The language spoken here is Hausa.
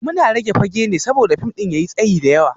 Muna rage fage ne saboda fim ɗin ya yi tsayi da yawa